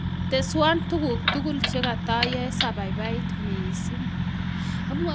Teswan tuguk tugul chegatayae sababait mising